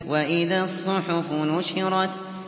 وَإِذَا الصُّحُفُ نُشِرَتْ